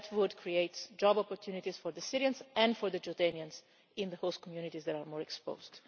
That would create job opportunities for the Syrians and for the Jordanians in the host communities that are more exposed.